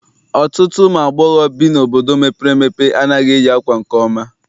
Ọtụtụ ụmụ agbọghọ bi n'obodo mepere emepe anaghị eyi ákwà nke ọma.